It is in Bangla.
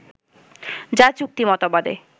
যা চুক্তি মতবাদে